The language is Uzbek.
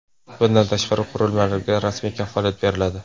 Bundan tashqari, qurilmalarga rasmiy kafolat beriladi.